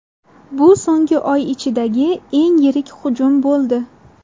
Bu so‘nggi oy ichidagi eng yirik hujum bo‘ldi.